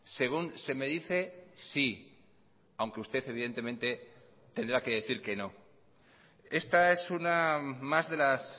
según se me dice sí aunque usted evidentemente tendrá que decir que no esta es una más de las